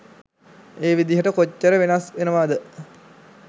ඒ විදිහට කොච්චර වෙනස් වෙනවද?